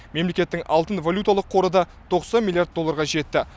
мемлекеттің алтын валюталық қоры да тоқсан миллиард долларға жетті